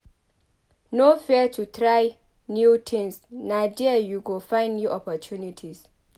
No fear to try new tins na there you go find new opportunities.